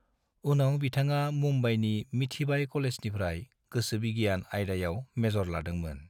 उनाव बिथाङा मुंबाईनि मिठीबाई कलेजनिफ्राय गोसोबिगियान आयदायाव मेजर लादोंमोन।